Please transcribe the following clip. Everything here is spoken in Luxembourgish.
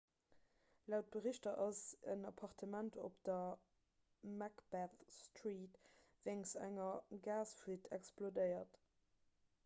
laut berichter ass en appartement op der macbeth street wéinst enger gasfuite explodéiert